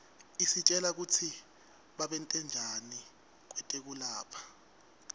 isitjela kutsi babentanjani kwetekulapha